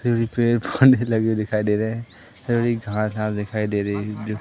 मुझे फनी लगे हुए दिखाई दे रहे हैं मुझे घास आस दिखाई दे रही है।